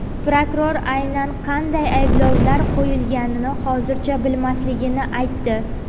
Prokuror aynan qanday ayblovlar qo‘yilganini hozircha bilmasligini aytdi.